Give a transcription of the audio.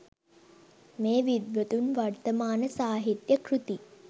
මේ විද්වතුන් වර්තමාන සාහිත්‍ය කෘති